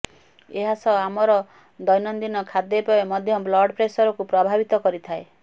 ଏହାସହ ଆମର ଦୈନନ୍ଦୀନ ଖାଦ୍ୟପେୟ ମଧ୍ୟ ବ୍ଲଡପ୍ରେସରକୁ ପ୍ରଭାବିତ କରିଥାଏ